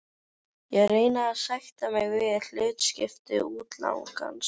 Ég reyni að sætta mig við hlutskipti útlagans.